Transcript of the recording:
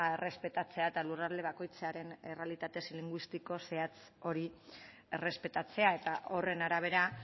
errespetatzea eta lurralde bakoitzaren errealitate linguistiko zehatz hori errespetatzea eta horren arabera